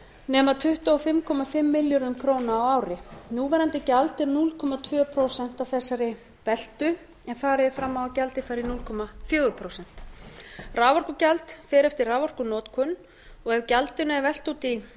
nema tuttugu og fimm komma fimm milljörðum króna á ári núverandi gjald er núll komma tvö prósent af þessari veltu en farið er fram á að gjaldið fari í núll komma fjögur prósent raforkugjald fer eftir raforkunotkun og ef gjaldinu er velt út í